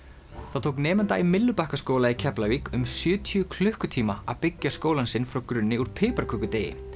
það tók nemanda í Myllubakkaskóla í Keflavík um sjötíu klukkutíma að byggja skólann sinn frá grunni úr piparkökudeigi